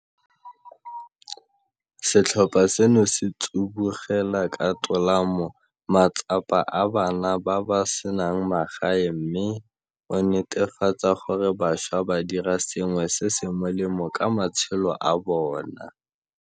Setlhopha seno se tsibogela ka tolamo matsapa a bana ba ba senang magae mme o netefatsa gore bašwa ba dira sengwe se se molemo ka matshelo a bona.